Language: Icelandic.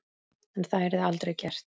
En það yrði aldrei gert.